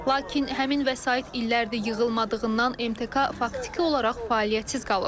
Lakin həmin vəsait illərdir yığılmadığından MTK faktiki olaraq fəaliyyətsiz qalıb.